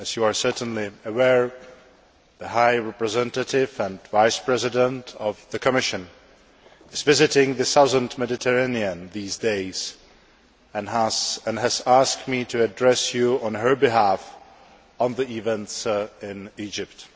As you are certainly aware, the High Representative and Vice President of the Commission is visiting the southern Mediterranean at the moment and has asked me to address you on her behalf on the events in Egypt.